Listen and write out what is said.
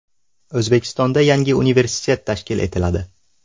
O‘zbekistonda yangi universitet tashkil etiladi.